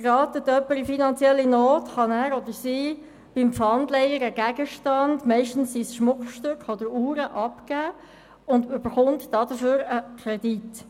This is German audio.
Gerät jemand in Not, kann er oder sie in der Pfandleihe einen Gegenstand – meistens ist es ein Schmuckstück oder eine Uhr – abgeben und bekommt dafür einen Kredit.